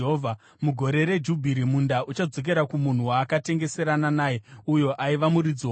Mugore reJubhiri munda uchadzokera kumunhu waakatengeserana naye uyo aiva muridzi womunda.